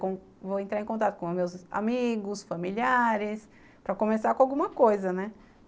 Vou entrar em contato com meus amigos, familiares, para começar com alguma coisa, né?